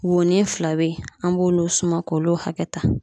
Woni fila be yen an b'olu suma k'olu hakɛ ta